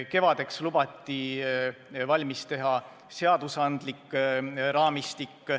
Kevadeks lubati valmis teha seadusandlik raamistik.